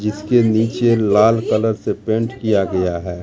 जिसके नीचे लाल कलर से पेंट किया गया है।